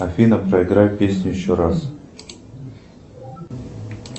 афина проиграй песню еще раз